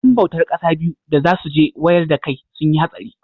yan bautar kasa biyu da za su je wayar dakai sun yi hatsari